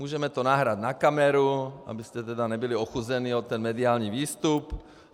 Můžeme to nahrát na kameru, abyste tedy nebyli ochuzeni o ten mediální výstup.